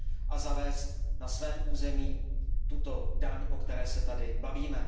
a zavést na svém území tuto daň, o které se zde bavíme.